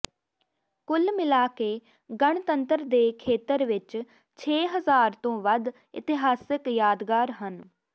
ਕੁੱਲ ਮਿਲਾ ਕੇ ਗਣਤੰਤਰ ਦੇ ਖੇਤਰ ਵਿੱਚ ਛੇ ਹਜ਼ਾਰ ਤੋਂ ਵੱਧ ਇਤਿਹਾਸਿਕ ਯਾਦਗਾਰ ਹਨ